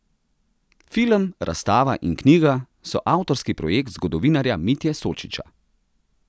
Film, razstava in knjiga so avtorski projekt zgodovinarja Mitje Sočiča.